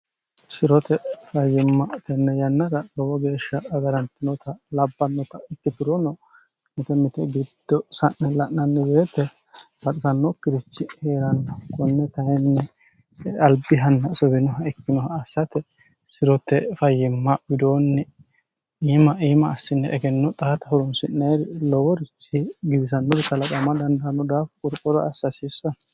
sirote fayyimma tenne yannara lowo geeshsha agarantinota labbannota itkiturono mite mite giddo sa'ne la'nanni weete baxisannokirichi hee'ranni konne kayinni albihanna suwinoha ikkinoha assate sirote fayyimma widoonni iima iima assinni egenno xaata horonsi'neeri loworichi giwisannorichi kalaqama dandaanno daafo qorqoro assa hasiissano